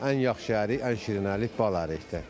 Ən yaxşı ərik, ən şirin ərik bal ərikdir.